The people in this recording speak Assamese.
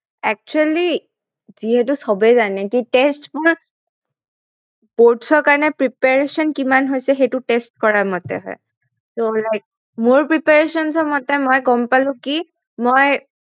Actually যিহেতু সবেই জানে যে test boards ৰ কাৰনে preparation কিমান হৈছে সেইটো test কৰা মতে হয় like মোৰ preparation টো মতে মই গম পালো কি মই